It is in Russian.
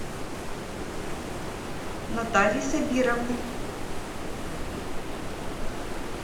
натальи сабировны